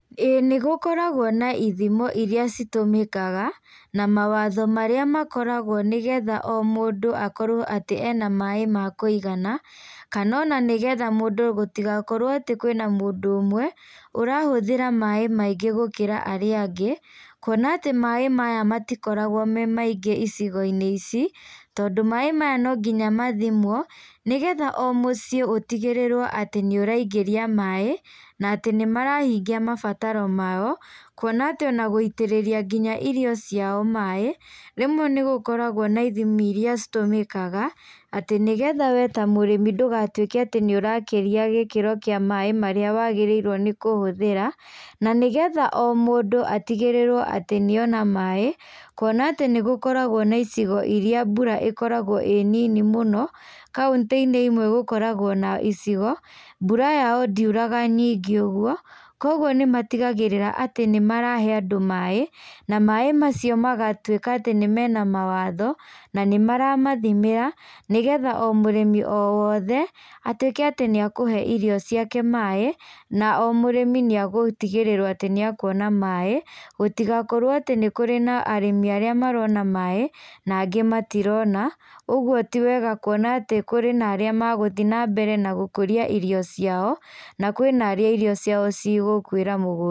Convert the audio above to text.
Ĩĩ nĩgũkoragwo na ithimo iria citũmĩkaga, na mawatho marĩa makoragwo nĩgetha o mũndũ akorwo atĩ ena maĩ ma kũigana, kana ona nĩgetha mũndũ gũtigakorwo atĩ kwĩna mũndũ ũmwe, ũrahũthĩra maĩ maingĩ gũkĩra arĩa angĩ, kuona atĩ maĩ maya matikoragwo me maingĩ icigoinĩ ici, tondũ maĩ maya nonginya mathimwo, nĩgetha o mũciĩ ũtigĩrĩrwo atĩ nĩũraingĩria maĩ, na atĩ nĩmarahingia mabataro mao, kuona atĩ ona gũitĩrĩria nginya irio ciao maĩ, rĩmwe nĩgũkoragwo na ithimi iria citũmĩkaga, atĩ nĩgetha we ta mũrĩmi ndũgatuĩke atĩ nĩũrakĩria gĩkĩro kĩa maĩ marĩa wagĩrĩirwo nĩ kũhũthĩra, na nĩgetha o mũndũ atigĩrĩrwo atĩ nĩona maĩ, kuona atĩ nĩgũkoragwo na icigo iria mbura ĩkoragwo ĩ nini mũno, kaũntinĩ imwe gũkoragwo na icigo, mbura yao ndiuraga nyingĩ ũguo, koguo nĩmatigagĩrĩra atĩ nĩmarahe andũ maĩ, na maĩ macio magatuĩka atĩ nĩmena mawatho, na nĩmaramathimĩra, nĩgetha o mũrĩmi o wothe, atuĩke atĩ nĩakũhe irio ciake maĩ, na o mũrĩmi nĩagũtigĩrĩrwo atĩ nĩakuona maĩ, gũtigakorwo atĩ nĩkũrĩ na arĩmi arĩa marona maĩ, na angĩ matirona, ũguo ti wega kuona atĩ kũrĩ na arĩa magũthiĩ nambere na gũkũria irio ciao, na kwĩna arĩa irio ciao cigũkuĩra mũgũnda.